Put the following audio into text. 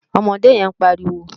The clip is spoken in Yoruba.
Òmòdé yén pàríwó